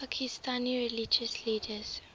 pakistani religious leaders